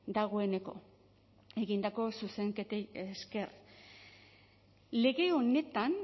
dagoeneko egindako zuzenketei esker lege honetan